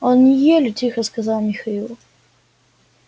они ели тихо сказал михаил